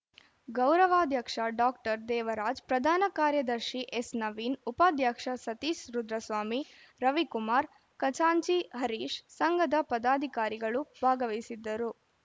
ಗೌರವಾಧ್ಯಕ್ಷ ಡಾಕ್ಟರ್ ದೇವರಾಜ್‌ ಪ್ರಧಾನ ಕಾರ್ಯದರ್ಶಿ ಎಸ್‌ ನವೀನ್‌ ಉಪಾಧ್ಯಕ್ಷ ಸತೀಶ್‌ ರುದ್ರಸ್ವಾಮಿ ರವಿಕುಮಾರ್‌ ಖಜಾಂಚಿ ಹರೀಶ್‌ ಸಂಘದ ಪದಾಧಿಕಾರಿಗಳು ಭಾಗವಹಿಸಿದ್ದರು